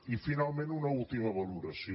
i finalment una última valoració